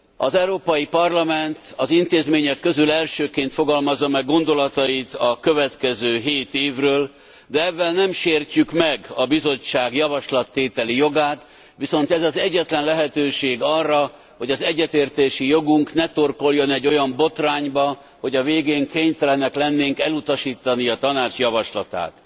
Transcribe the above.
Az Európai Parlament az intézmények közül elsőként fogalmazza meg gondolatait a következő hét évről, de evvel nem sértjük meg a Bizottság javaslattételi jogát, viszont ez az egyetlen lehetőség arra, hogy az egyetértési jogunk ne torkolljon egy olyan botrányba, hogy a végén kénytelenek lennénk elutasítani a Tanács javaslatát.